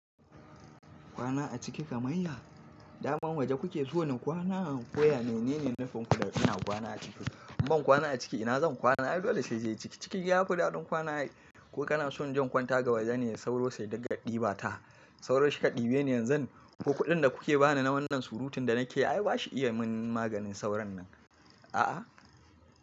Kwana a ciki kamar ya? Daman waje kuke so ni kwana, koya menene nufin ku da kina kwana a ciki. Ban kwana a ciki ina zan kwana? Ai dole sai dai ciki. Ciki ya ku daɗin kwana? Ko kana son in je in kwanta ga wajene sauro sai dinga ɗiba ta. Sauro shika ɗibe ne yanzu ko kuɗin da kuke bani na wannan surutun da nake ai ba shi iya mun maganin sauron nan. A'a.